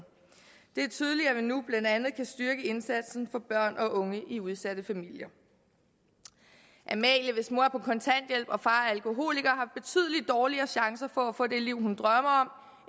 det er tydeligt at vi nu blandt andet kan styrke indsatsen for børn og unge i udsatte familier amalie hvis mor er på kontanthjælp og alkoholiker har betydeligt dårligere chancer for at få det liv hun drømmer